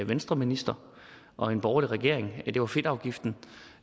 venstreminister og en borgerlig regering det var fedtafgiften